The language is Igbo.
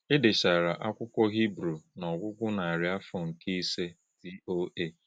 E dechara Akwụkwọ Hibru n’ọgwụgwụ narị afọ nke nke ise